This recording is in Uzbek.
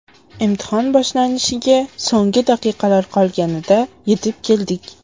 Imtihon boshlanishiga so‘nggi daqiqalar qolganida yetib keldik.